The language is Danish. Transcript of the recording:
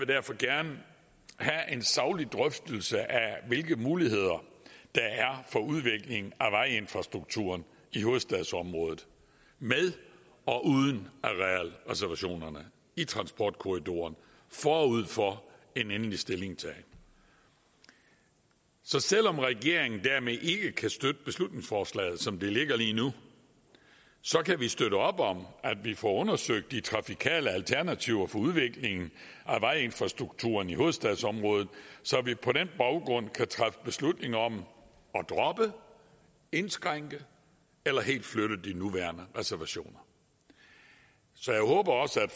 derfor gerne have en saglig drøftelse af hvilke muligheder der er for udvikling af vejinfrastrukturen i hovedstadsområdet med og uden arealreservationerne i transportkorridoren forud for en endelig stillingtagen så selv om regeringen dermed ikke kan støtte beslutningsforslaget som det ligger lige nu kan vi støtte op om at vi får undersøgt de trafikale alternativer for udviklingen af vejinfrastrukturen i hovedstadsområdet så vi på den baggrund kan træffe beslutning om at droppe indskrænke eller helt flytte de nuværende reservationer så jeg håber også at